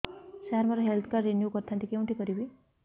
ସାର ମୋର health card renew କରିଥାନ୍ତି କେଉଁଠି କରିବି